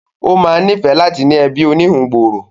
Ó ma níìfẹ́ láti ní ẹbí oníhun gbòòrò